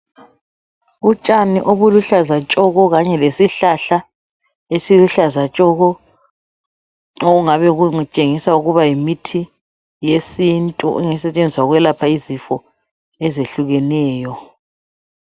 Utshani obuluhlaza tshoko kanye lesihlahla esiluhlaza tshoko okungabe kutshengisa ukuba yimithi yesintu esetshenziswa ukwelapha izifo ezehlukeneyo.